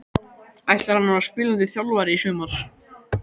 Ætlar hann að vera spilandi þjálfari í sumar?